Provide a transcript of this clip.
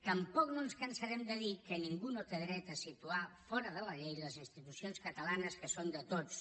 tampoc no ens cansarem de dir que ningú no té dret a situar fora de la llei les institucions catalanes que són de tots